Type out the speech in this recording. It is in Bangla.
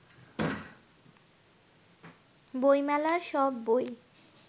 বই মেলার সব বই